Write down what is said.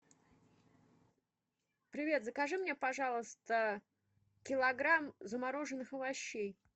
привет закажи мне пожалуйста килограмм замороженных овощей